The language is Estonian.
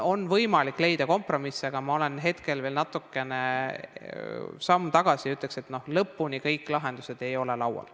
On võimalik leida kompromisse, aga ma hetkel teen veel natukese sammu tagasi ja ütlen, et lõpuni kõik lahendused ei ole laual.